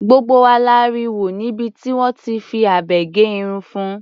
Gbogbo wa la rí wọ níbi tí wọ́n ti fi abẹ gé irun fun.